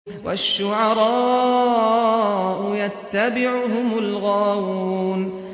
وَالشُّعَرَاءُ يَتَّبِعُهُمُ الْغَاوُونَ